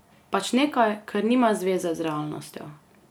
Pač nekaj, kar nima zveze z realnostjo.